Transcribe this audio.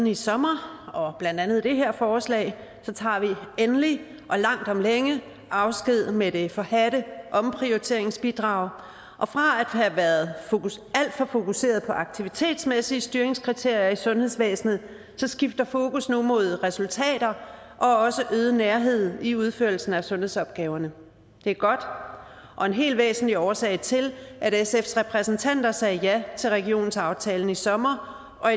i sommer og blandt andet det her forslag tager vi endelig og langt om længe afsked med det forhadte omprioriteringsbidrag og fra at have været alt for fokuseret på aktivitetsmæssige styringskriterier i sundhedsvæsenet skifter fokus nu mod resultater og også øget nærhed i udførelsen af sundhedsopgaverne det er godt og en helt væsentlig årsag til at sfs repræsentanter sagde ja til regionsaftalen i sommer og